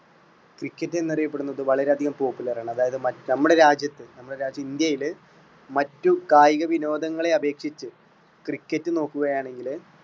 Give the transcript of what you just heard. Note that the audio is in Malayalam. cricket എന്ന് അറിയപ്പെടുന്നത് വളരെ അധികം popular ആണ്. അതായത് ന~നമ്മുടെ രാജ്യത്ത് നമ്മുടെ രാജ്യത്ത് ഇന്ത്യയിൽ മറ്റു കായിക വിനോദങ്ങളെ അപേക്ഷിച്ച് cricket നോക്കുകയാണെങ്കിൽ